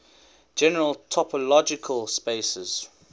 general topological spaces